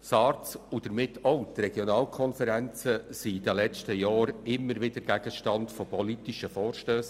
Die SARZ und damit auch die Regionalkonferenzen waren in den letzten Jahren immer wieder Gegenstand von politischen Vorstössen.